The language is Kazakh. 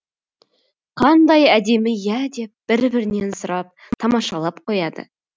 қандай әдемі иә деп бір бірінен сұрап тамашалап қояды